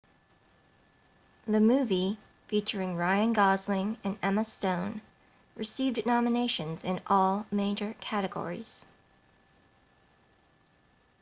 the movie featuring ryan gosling and emma stone received nominations in all major categories